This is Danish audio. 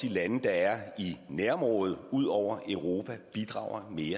lande der er i nærområdet ud over europa bidrager mere